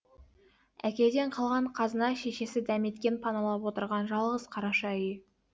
әкеден қалған қазына шешесі дәметкен паналап отырған жалғыз қараша үй